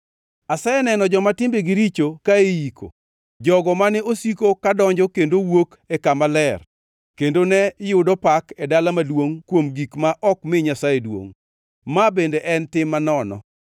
Aseneno joma timbegi richo ka iyiko, jogo mane osiko kadonjo kendo wuok e kama ler kendo ne yudo pak e dala maduongʼ kuom gik ma ok mi Nyasaye duongʼ. Ma bende en tim manono.